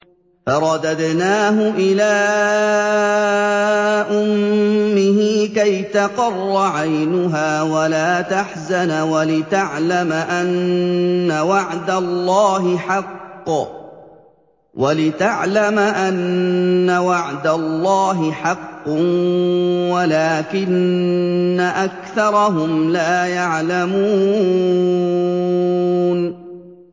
فَرَدَدْنَاهُ إِلَىٰ أُمِّهِ كَيْ تَقَرَّ عَيْنُهَا وَلَا تَحْزَنَ وَلِتَعْلَمَ أَنَّ وَعْدَ اللَّهِ حَقٌّ وَلَٰكِنَّ أَكْثَرَهُمْ لَا يَعْلَمُونَ